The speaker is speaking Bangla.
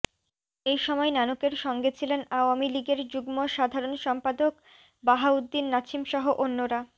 এই সময় নানকের সঙ্গে ছিলেন আওয়ামী লীগের যুগ্ম সাধারণ সম্পাদক বাহাউদ্দিন নাছিমসহ অন্যরা